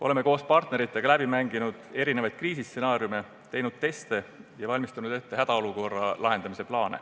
Oleme koos partneritega läbi mänginud erinevaid kriisistsenaariume, teinud teste ja valmistanud ette hädaolukorra lahendamise plaane.